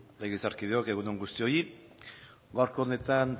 legebiltzarkideok egun on guztioi gaurko honetan